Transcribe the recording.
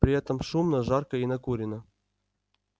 при этом шумно жарко и накурено